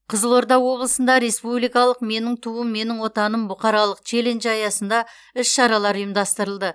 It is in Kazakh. қызылорда облысында республикалық менің туым менің отаным бұқаралық челленджі аясында іс шаралар ұйымдастырылды